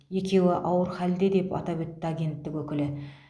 екеуі ауыр халде деп атап өтті агенттік өкілі